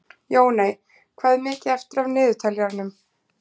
Jóney, hvað er mikið eftir af niðurteljaranum?